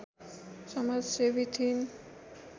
समाजसेवी थिइन्